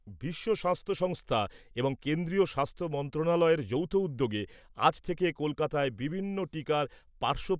বিশ্ব স্বাস্থ্য সংস্থা এবং কেন্দ্রীয় স্বাস্থ্য মন্ত্রণালয়ের যৌথ উদ্যোগে আজ থেকে কলকাতায় বিভিন্ন টিকার পার্শ্ব